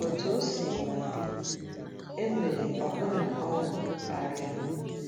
Otú o sina dị, e nwere ọbụna ọṅụ karịa.